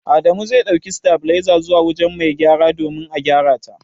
Adamu zai ɗauki sitabiliza zuwa wujen mai gyaran domin a gyarata.